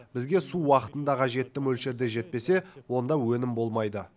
бізге су уақытында қажетті мөлшерде жетпесе онда өнім болмайды